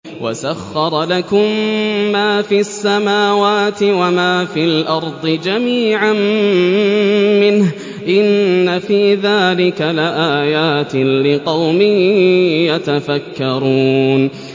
وَسَخَّرَ لَكُم مَّا فِي السَّمَاوَاتِ وَمَا فِي الْأَرْضِ جَمِيعًا مِّنْهُ ۚ إِنَّ فِي ذَٰلِكَ لَآيَاتٍ لِّقَوْمٍ يَتَفَكَّرُونَ